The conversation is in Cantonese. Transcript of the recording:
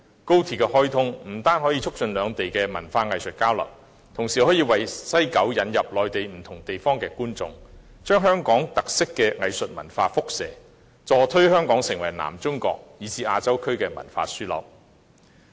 高鐵的開通不單可以促進內地與香港的文化藝術交流，同時亦可為西九文化區引入內地不同地方的觀眾，把香港特色的藝術文化輻射，協助推動香港成為南中國以至亞洲區的文化樞紐。